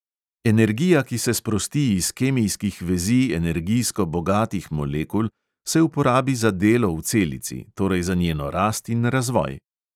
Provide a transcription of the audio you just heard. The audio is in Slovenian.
Energija, ki se sprosti iz kemijskih vezi energijsko bogatih molekul, se uporabi za delo v celici, torej za njeno rast in razvoj.